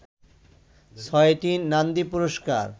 ছয়টি নান্দি পুরস্কার